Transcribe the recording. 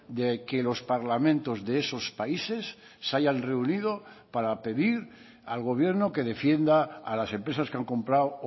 de qué los parlamentos de esos países se hayan reunido para pedir al gobierno que defienda a las empresas que han comprado